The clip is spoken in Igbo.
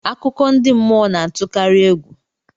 Akụkọ ndị mmụọ na-atụkarị egwu